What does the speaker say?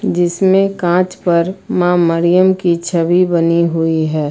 जिसमें कांच पर मां मरियम की छवि बनी हुई है।